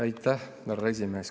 Aitäh, härra esimees!